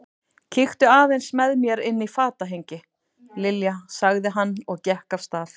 Kíktu aðeins með mér inn í fatahengi, Lilja sagði hann og gekk af stað.